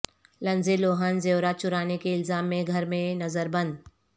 Lindsay Lohan زیورات چرانے کے الزام میں گھر میں نظر بند